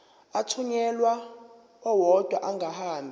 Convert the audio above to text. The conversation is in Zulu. athunyelwa odwa angahambi